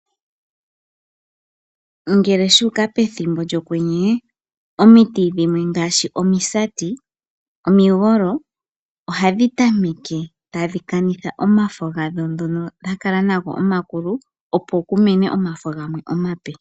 Ngele shu uka pethimbo lyokwenye omiti dhimwe ngaashi omisati nomigolo ohadhi tameke tadhi kanitha omafo gadho ngono dha kala nago omakulu, opo ku mene omafo gamwe omape.